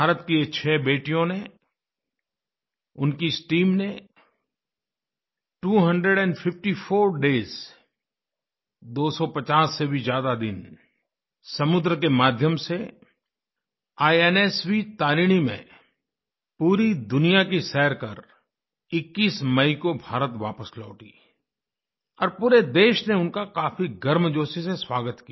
भारत की इन 6 बेटियों ने उनकी इस टीम ने two hundred and fifty four days 250 से भी ज़्यादा दिनसमुद्र के माध्यम से इन्स्व तारिणी में पूरी दुनिया की सैर कर 21 मई को भारत वापस लौटी हैं और पूरे देश ने उनका काफी गर्मजोशी से स्वागत किया